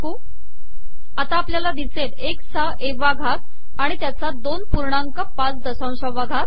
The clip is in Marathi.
001542 001541 आता आपलयाला िदसेल एकस चा ए वा घात